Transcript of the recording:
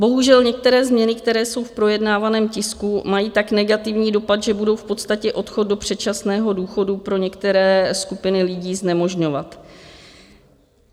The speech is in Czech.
Bohužel některé změny, které jsou v projednávaném tisku, mají tak negativní dopad, že budou v podstatě odchod do předčasného důchodu pro některé skupiny lidí znemožňovat.